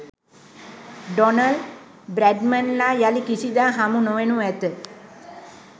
Donald බ්‍රැඩ්මන්ලා යලි කිසිදා හමු නොවනු ඇත.